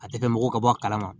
A tɛ kɛ mɔgɔ ka bɔ a kalama